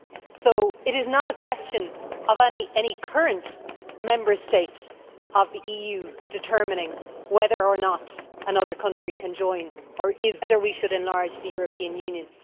So it is not a question of any current Member State of the EU determining whether or not another country can join, or is European, or whether we should enlarge the European Union.